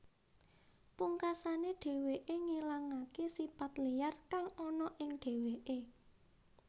Pungkasané dheweké ngilangaké sipat liyar kang ana ing dheweké